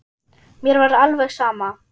Mér var alveg sama.